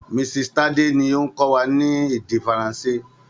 Mrs. Tade ló ń kọ́ wa ní èdè Faransé.